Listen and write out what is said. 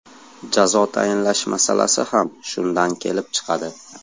Jazo tayinlash masalasi ham shundan kelib chiqadi.